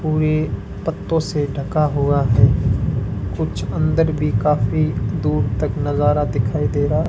और ये पत्तों से ढका हुआ है कुछ अंदर भी काफी दूर तक नजारा दिखाई दे रहा है।